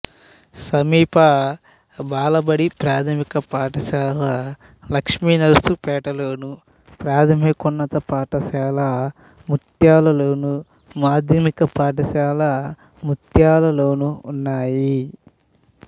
సమీప బాలబడి ప్రాథమిక పాఠశాల లక్ష్మీనర్సుపేట లోను ప్రాథమికోన్నత పాఠశాల ముత్యాలులోను మాధ్యమిక పాఠశాల ముత్యాలులోనూ ఉన్నాయి